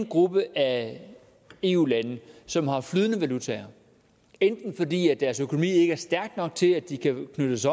gruppe af eu lande som har flydende valutaer enten fordi deres økonomi ikke er stærk nok til at de kan knyttes